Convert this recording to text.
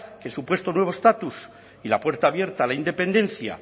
que el supuesto nuevo estatus y la puerta abierta a la independencia